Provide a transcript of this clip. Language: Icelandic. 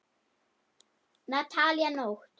Natalía Nótt.